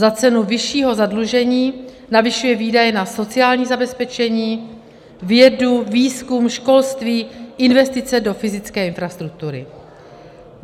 Za cenu vyššího zadlužení navyšuje výdaje na sociální zabezpečení, vědu, výzkum, školství, investice do fyzické infrastruktury.